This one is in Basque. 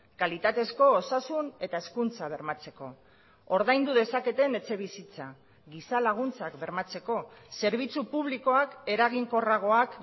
kalitatezko osasun eta hezkuntza bermatzeko ordaindu dezaketen etxebizitza giza laguntzak bermatzeko zerbitzu publikoak eraginkorragoak